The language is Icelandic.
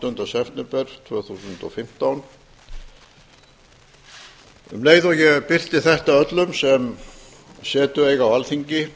áttunda september tvö þúsund og fimmtán um leið og ég birti þetta er öllum sem setu eiga á alþingi